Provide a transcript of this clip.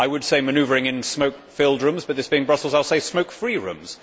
I would say manoeuvring in smoke filled rooms but, this being Brussels, I will say smoke free rooms.